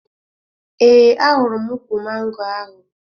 Ee, ahụrụ m ukwu mango ahụ